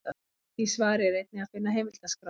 Í því svari er einnig að finna heimildaskrá.